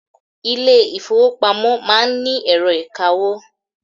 Ilé ìfọwọ́pamo má ń ni ẹ̀rọ ìkawó.